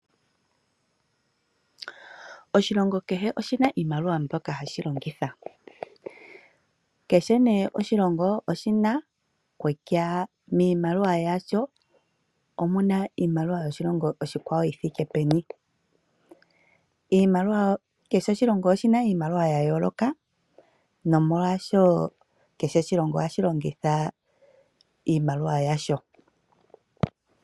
Oshilongo kehe oshina iimaliwa ndjoka hashi longitha, kehe miimaliwa yoshilongo kehe omuna nee kutya omuna iimaliwa ingapi yoshilongo oshikwawo. Kehe oshilongo oshina iimaliwa yayooloka nakehe oshilongo ohashi longitha iimaliwa yasho.